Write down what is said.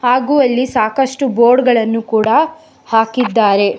ಹಾಗು ಅಲ್ಲಿ ಸಾಕಷ್ಟು ಬೋರ್ಡ್ ಗಳನ್ನು ಕೂಡ ಹಾಕಿದ್ದಾರೆ.